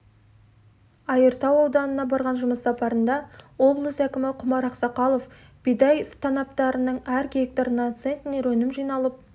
айыртау ауданына барған жұмыс сапарында облыс әкімі құмар ақсақалов бидай танаптарының әр гектарынана центнер өнім жиналып